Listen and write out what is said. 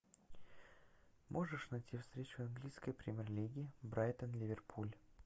можешь найти встречу английской премьер лиги брайтон ливерпуль